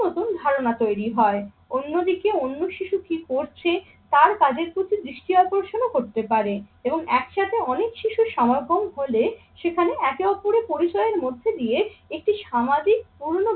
ধারণা তৈরি হয়। অন্যদিকে অন্য শিশু কি করছে তার কাজের প্রতি দৃষ্টি আকর্ষণও করতে পারে এবং একসাথে অনেক শিশুর সমাগম হলে সেখানে একে অপরের পরিচয়ের মধ্যে দিয়ে একটি সামাজিক পূর্ণ